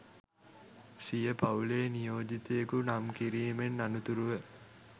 සිය පවු‍ලේ නියෝජිතයකු නම් කිරීමෙන් අනතුරුව